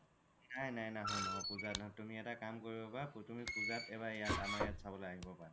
নাই নাই নাহো পুজাত নাহো তুমি এটা কাম কৰিবা পাৰা পুজাত এবাৰ আমাৰ ইয়াত চাবলৈ আহিব পাৰা